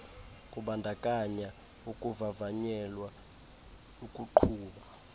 kubandakanya ukuvavanyelwa ukuqhuba